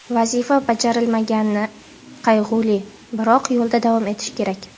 Vazifa bajarilmagani qayg‘uli, biroq yo‘lda davom etish kerak.